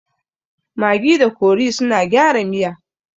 Magi da kori suna gyara miya